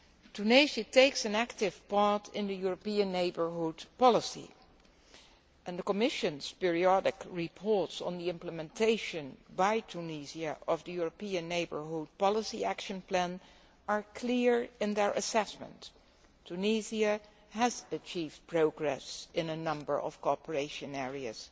Tunisia takes an active part in the European Neighbourhood Policy and the Commission's periodic reports on implementation by Tunisia of the European Neighbourhood Policy Action Plan are clear in their assessment Tunisia has achieved progress in a number of cooperation areas,